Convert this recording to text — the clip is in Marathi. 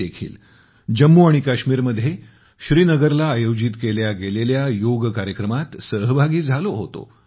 मी देखील जम्मू आणि काश्मीरमध्ये श्रीनगरला आयोजित केलेल्या योग कार्यक्रमात सहभागी झालो होते